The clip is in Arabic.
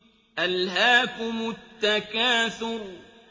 أَلْهَاكُمُ التَّكَاثُرُ